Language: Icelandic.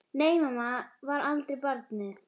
Nei mamma var aldrei barnið mitt.